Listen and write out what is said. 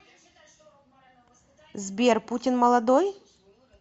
сбер путин молодой